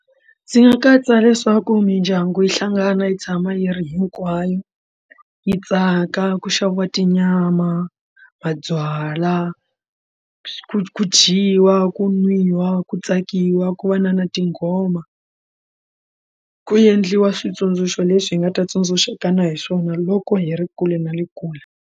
Ndzi nga katsa leswaku mindyangu yi hlangana yi tshama yi ri hinkwayo yi tsaka ku xaviwa tinyama mabyalwa ku ku dyiwa ku nwiwa ku tsakiwa ku va na na tinghoma ku endliwa switsundzuxo leswi hi nga ta tsundzuxaka na hi swona loko hi ri kule na le kule.